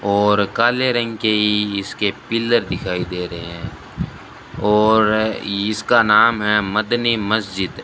और काले रंग के इसके पिल्लर दिखाई दे रहे है और इसका नाम है मदनी मस्जिद।